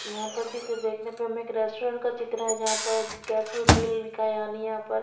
यहाँ पर चित्र देखने पर हमे एक रस्टॉरंट का चित्र है जहा पर गेसो गले लिखा है यहाँ पर।